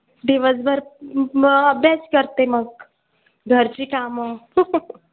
दिवसभर मग अभ्यास करते मग, घरची कामं.